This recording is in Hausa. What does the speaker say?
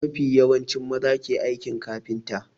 Mafi yawanci maza ke aikin kafinta.